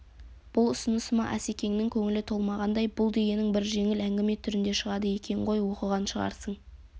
бұл ұсынысыма асекеңнің көңілі толмағандай бұл дегенің бір жеңіл әңгіме түрінде шығады екен ғой оқыған шығарсың